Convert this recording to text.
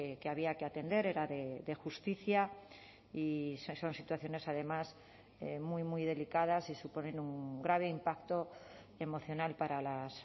que había que atender era de justicia y son situaciones además muy muy delicadas y suponen un grave impacto emocional para las